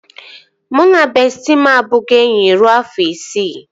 Mụ na bestịị m abugo enyi rue afọ isii